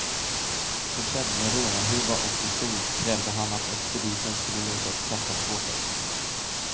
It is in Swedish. Försedd med rånarhuva och pistol krävde han att expediten skulle låsa upp kassaskåpet.